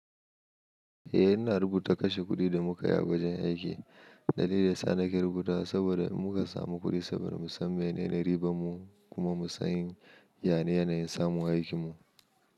Eh ina rubuta kashe kudi da muka yi a wajen aiki. Dalilin sa nake rubutawa saboda muka samu kudi saboda musan mene ne riban mu kuma musan yane yanayin samun aikin mu.